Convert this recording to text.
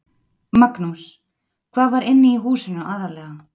Magnús: Hvað var inni í húsinu aðallega?